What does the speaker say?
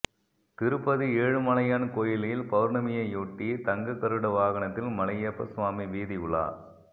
திருப்பதி ஏழுமலையான் கோயிலில் பவுர்ணமியையொட்டி தங்க கருட வாகனத்தில் மலையப்ப சுவாமி வீதி உலா